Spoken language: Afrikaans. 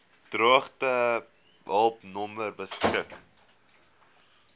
droogtehulp nommer beskik